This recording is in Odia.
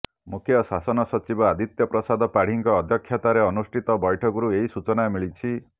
ମୁଖ୍ୟ ଶାସନ ସଚିବ ଆଦିତ୍ୟ ପ୍ରସାଦ ପାଢ଼ୀଙ୍କ ଅଧ୍ୟକ୍ଷତାରେ ଅନୁଷ୍ଠିତ ବୈଠକରୁ ଏହି ସୂଚନା ମିଳିଛି